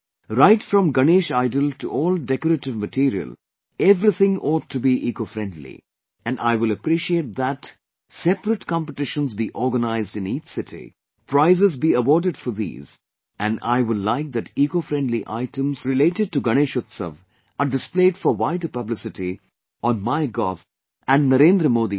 Right from Ganesh idol to all decorative material everything ought to be eco friendly and I will appreciate that separate competitions be organized in each city, prizes be awarded for these; and I will like that eco friendly items related to Ganesh Utsav are displayed for wider publicity on My Gov and Narendra Modi App